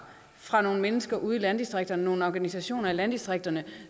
fra nogle mennesker ude i landdistrikterne fra nogle organisationer i landdistrikterne